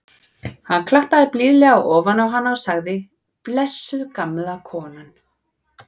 Hann klappaði blíðlega ofan á hana og sagði: blessuð gamla konan.